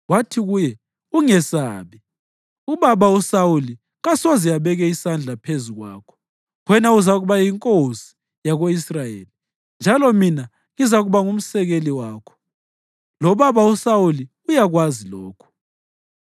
Wathi kuye, “Ungesabi. Ubaba uSawuli kasoze abeke isandla phezu kwakho. Wena uzakuba yinkosi yako-Israyeli, njalo mina ngizakuba ngumsekeli wakho. Lobaba uSawuli uyakwazi lokhu.”